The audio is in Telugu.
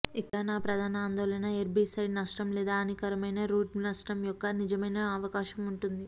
ఇక్కడ నా ప్రధాన ఆందోళన హెర్బిసైడ్ నష్టం లేదా హానికరమైన రూట్ నష్టం యొక్క నిజమైన అవకాశం ఉంటుంది